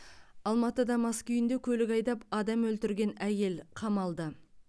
алматыда мас күйінде көлік айдап адам өлтірген әйел қамалды